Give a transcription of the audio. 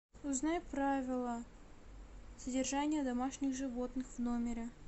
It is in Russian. узнай правила содержания домашних животных в номере